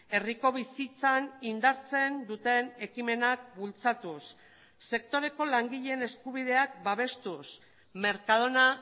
herriko bizitzan indartzen duten ekimenak bultzatuz sektoreko langileen eskubideak babestuz mercadona